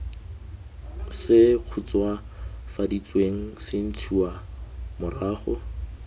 se khutswafaditsweng se ntshiwa morago